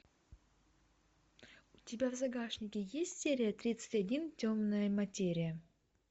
у тебя в загашнике есть серия тридцать один темная материя